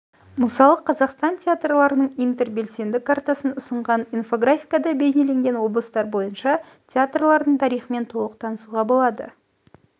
мысалы қазақстан театрларының интербелсенді картасын ұсынған инфографикада бейнеленген облыстар бойынша театрлардың тарихымен толық танысуға болады